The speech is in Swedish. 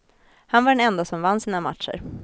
Han var den ende som vann sina matcher.